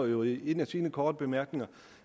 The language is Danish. jo i en af sine korte bemærkninger